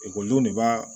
Ekɔlidenw de b'a